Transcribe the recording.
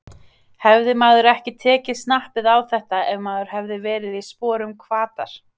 Hefði maður ekki tekið snappið á þetta ef maður hefði verið í sporum Hvatar?